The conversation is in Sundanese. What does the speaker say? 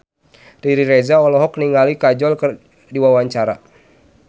Riri Reza olohok ningali Kajol keur diwawancara